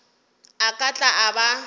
a ka tla a ba